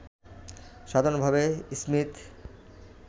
সাধারণভাবে স্মীথ